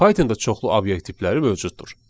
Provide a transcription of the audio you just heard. Python-da çoxlu obyekt tipləri mövcuddur.